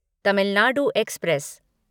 Tamil Nadu express